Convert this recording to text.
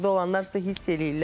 Orda olanlar isə hiss eləyirlər.